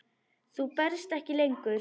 Þú berst ekki lengur.